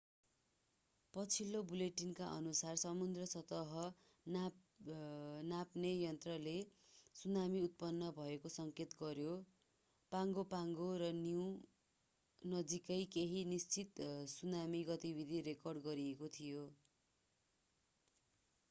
पछिल्लो बुलेटिनका अनुसार समुद्री सतह नाप्ने यन्त्रले सुनामी उत्पन्न भएको सङ्केत गर्यो पागो पागो र निउ नजिकै केहि निश्चित सुनामी गतिविधि रेकर्ड गरिएको थियो